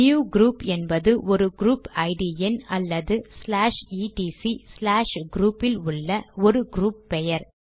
new group என்பது ஒரு group ID எண் அல்லது ச்லாஷ் இடிசி ச்லாஷ் க்ரூப் இல் உள்ள ஒரு க்ரூப் பெயர்